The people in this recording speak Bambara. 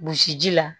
Gosi ji la